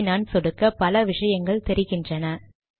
இதை நான் சொடுக்க பல விஷயங்கள் தெரிகின்றன